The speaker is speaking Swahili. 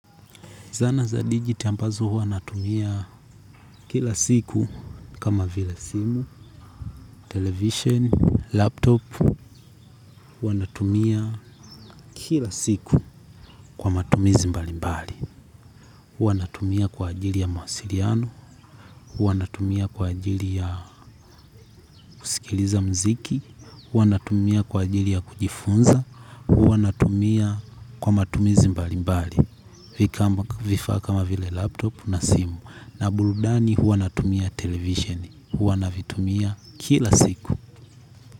Zana za digit ambazo huwa natumia kila siku kama vile simu, television, laptop huwa natumia kila siku kwa matumizi mbali mbali. Huwa natumia kwa ajili ya mawasiriano, huwa natumia kwa ajili ya kusikiliza mziki, hua natumia kwa ajili ya kujifunza, hua natumia kwa matumizi mbali mbali. Vifaa kama vile laptop na simu na burudani huwa natumia television huwa navitumia kila siku.